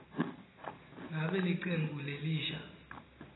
ngabe licembu lelisha